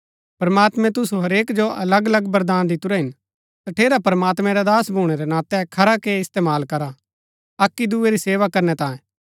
प्रमात्मैं तुसु हरेक जो अलग अलग वरदान दितुरै हिन तठेरा प्रमात्मैं रा दास भूणै रै नातै खरा के इस्तेमाल करा अक्की दूये री सेवा करनै तांये